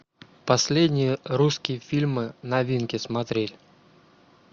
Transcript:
последние русские фильмы новинки смотреть